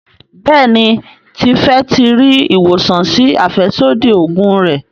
Béèni Tife tí rí ìwòsàn sí afẹsodi oògùn rẹ.